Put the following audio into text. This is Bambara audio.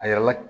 A yɛrɛ la